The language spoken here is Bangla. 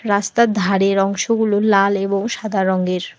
রাস্তার ধারের অংশগুলো লাল এবং সাদা রঙের।